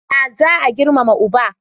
Ya za a Girmama uba?